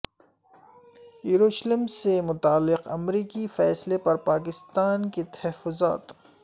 یروشلم سے متعلق امریکی فیصلے پر پاکستان کے تحفظات